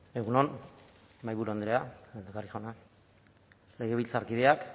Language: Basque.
egun on mahaiburu andrea jauna legebiltzarkideak